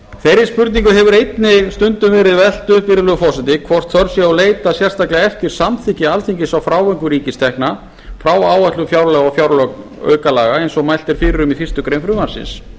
þeirri spurningu hefur einnig stundum verið velt upp virðulegi forseti hvort þörf sé að leita sérstaklega eftir samþykki alþingis á frávikum ríkistekna frá áætlun fjárlaga og fjáraukalaga eins og mælt er fyrir um í fyrstu grein frumvarpsins